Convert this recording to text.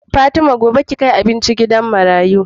Fatima gobe ki kai abinci gidan marayu